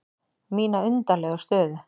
Mína undarlegu stöðu.